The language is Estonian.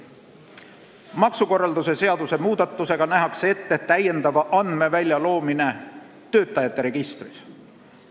Maksukorralduse seaduse muudatusega nähakse ette täiendava andmevälja loomine töötamise registris.